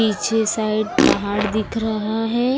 पीछे साइड पहाड़ दिख रहा है।